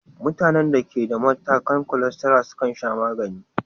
Mutanen da ke da matakan cholesterol sukan sha magani.